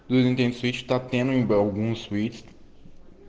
другие встречи так недолго москвичев